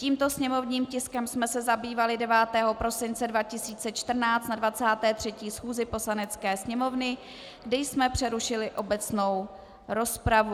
Tímto sněmovním tiskem jsme se zabývali 9. prosince 2014 na 23. schůzi Poslanecké sněmovny, kdy jsme přerušili obecnou rozpravu.